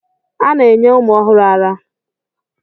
A na-enye ụmụ ọhụrụ árá.